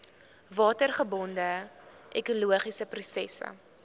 watergebonde ekologiese prosesse